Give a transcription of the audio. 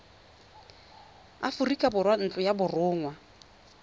aforika borwa ntlo ya borongwa